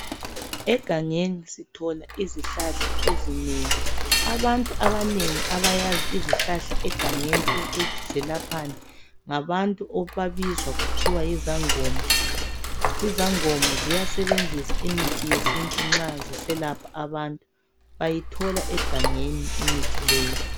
Egangeni sithola izihlahla ezinengi abantu abanengi abayazi izihlahla egangeni ukuthi zelaphani ngabantu ababizwa kuthiwa yizangoma, izangoma ziyasebenzisa imithi yesintu nxa ziselapha abantu bayithola egangeni imithi leyi.